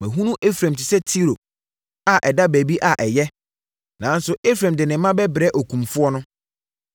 Mahunu Efraim te sɛ Tiro, a ɛda baabi a ɛyɛ. Nanso Efraim de ne mma bɛbrɛ okumfoɔ no.”